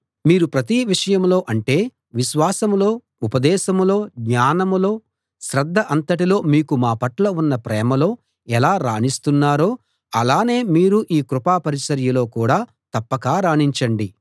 మీరు ప్రతి విషయంలో అంటే విశ్వాసంలో ఉపదేశంలో జ్ఞానంలో శ్రద్ధ అంతటిలో మీకు మా పట్ల ఉన్న ప్రేమలో ఎలా రాణిస్తున్నారో అలానే మీరు ఈ కృపా పరిచర్యలో కూడా తప్పక రాణించండి